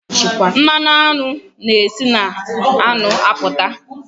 Mmanụ aṅụ na e si na aṅụ apụta.